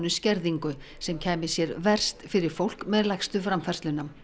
skerðingu sem kæmi sér verst fyrir fólk með lægstu framfærsluna